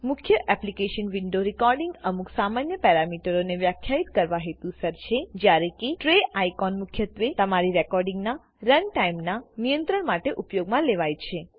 મુખ્ય application window રેકોડીંગના અમુક સામાન્ય પેરામીટરોને વ્યાખ્યાયિત કરવા હેતુસર છેજયારે કે ટ્રે આઇકોન મુખ્યત્વે તમારી રેકોડીંગ ના રન ટાઈમના નિયંત્રણ માટે ઉપયોગમાં લેવાય છે